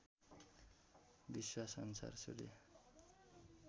विश्वास अनुसार सूर्य